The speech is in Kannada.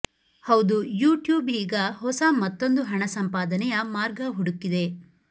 ಹೌದು ಯೂ ಟ್ಯೂಬ್ ಈಗ ಹೊಸ ಮತ್ತೊಂದು ಹಣ ಸಂಪಾದನೆಯ ಮಾರ್ಗ ಹುಡುಕಿದೆ